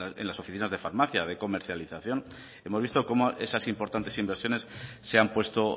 en las oficinas de farmacia de comercialización hemos visto cómo esas importantes inversiones se han puesto